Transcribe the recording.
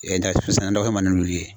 nɛgɛso sann'a kɛ man di n'olu ye